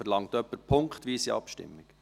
Verlangt jemand punktweise Abstimmung?